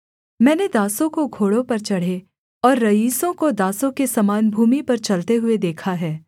मैंने दासों को घोड़ों पर चढ़े और रईसों को दासों के समान भूमि पर चलते हुए देखा है